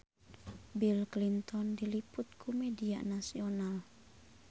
Bill Clinton diliput ku media nasional